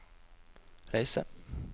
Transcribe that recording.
reise